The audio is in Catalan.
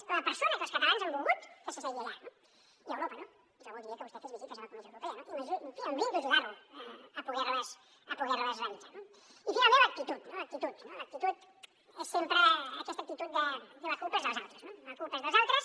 és la persona que els catalans han volgut que s’assegui allà no i a europa no jo voldria que vostè fes visites a la comissió europea no i em brindo ajudar lo a poder les realitzar no i finalment l’actitud no l’actitud és sempre aquesta l’actitud de la culpa és dels altres no la culpa és dels altres